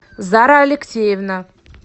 зара алексеевна